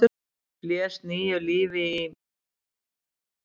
blés nýju lífi í.